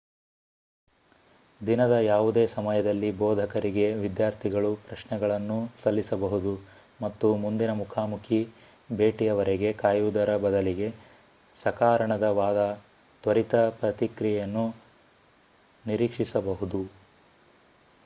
ದಿನದ ಯಾವುದೇ ಸಮಯದಲ್ಲಿ ಬೋಧಕರಿಗೆ ವಿದ್ಯಾರ್ಥಿಗಳು ಪ್ರಶ್ನೆಗಳನ್ನೂ ಸಲ್ಲಿಸಬಹುದು ಮತ್ತು ಮುಂದಿನ ಮುಖಾಮುಖಿ ಭೇಟಿಯವರೆಗೆ ಕಾಯುವುದರ ಬದಲಿಗೆ ಸಕಾರಣವಾದ ತ್ವರಿತ ಪ್ರತಿಕ್ರಿಯೆಯನ್ನು ನಿರೀಕ್ಷಿಸಬಹುದು